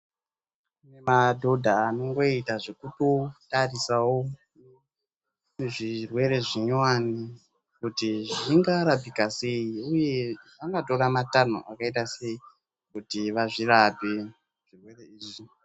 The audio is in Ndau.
Kune madhodha anongoitawo zvekutotarisawo zvirwere zvinyowani kuti zvingarapika sei uye angatora matanho akaita sei kuti vazvirape zvirwere izvi.